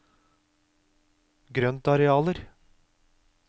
grøntarealer